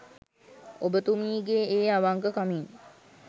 ඔබතුමීගේ ඒ අවංක කමින්